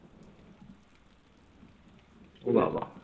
খ্রিষ্টপূর্ব ষষ্ঠ শতক থেকে বাংলার অধিকাংশ অঞ্চলই শক্তিশালী রাজ্য মগধের অংশ ছিল